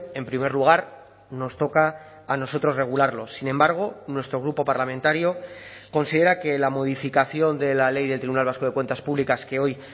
en primer lugar nos toca a nosotros regularlo sin embargo nuestro grupo parlamentario considera que la modificación de la ley del tribunal vasco de cuentas públicas que hoy